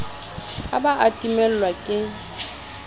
a ba a timellwa ke